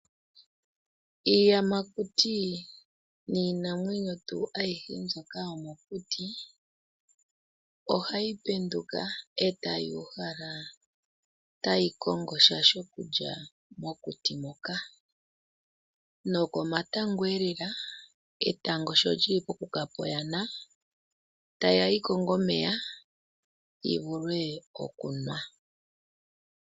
Iiyamakuti niinamwenyo tuu aihe mbyoka yomokuti ohayi penduka etayi uhala tayi kongo sha shokulya mokuti moka. Nokomatangoelela , etango sholyili pokukapa oyana, ohayi kakonga omeya yi vule okukanwa.